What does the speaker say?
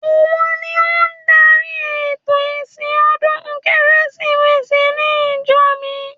Òun ni ó dárí ètò ìsìn ọdún Kérésìmesì ní ìjọ mi